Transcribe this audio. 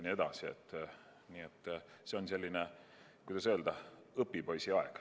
Nii et see on selline, kuidas öelda, õpipoisiaeg.